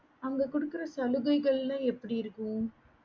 அங்க குடுக்கற சலுகைகள் எல்லாம் எப்படி இருக்கும்